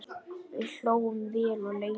Við hlógum vel og lengi.